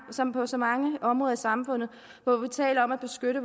som på så mange områder i samfundet hvor vi taler om at beskytte